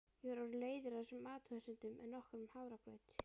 Ég var orðin leiðari á þessum athugasemdum en nokkrum hafragraut.